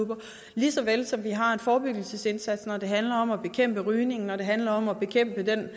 lige så vel som vi har en forebyggelsesindsats når det handler om at bekæmpe rygning når det handler om at bekæmpe den